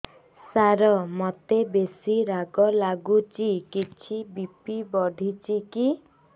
ସାର ମୋତେ ବେସି ରାଗ ଲାଗୁଚି କିଛି ବି.ପି ବଢ଼ିଚି କି